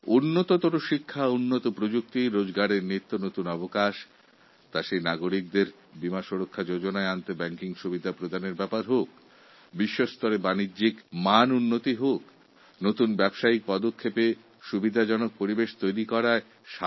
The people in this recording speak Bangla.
উন্নত শিক্ষা নতুন প্রযুক্তি এবং জীবিকার নিত্য নতুন সুযোগ নাগরিকদের বীমা সুরক্ষার আওতায় নিয়ে আসা থেকে ব্যাঙ্কিং সুযোগ প্রদান আন্তর্জাতিক স্তরে ব্যবসাবাণিজ্য করার যুগে এক নতুন সংস্কার এবং নতুন ব্যবসার ক্ষেত্রে পরিকাঠামো উন্নয়ন আমরা এইগুলো সব করতে পেরেছি